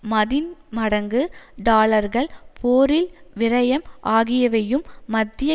மதின்மடங்கு டாலர்கள் போரில் விரயம் ஆகியவையும் மத்திய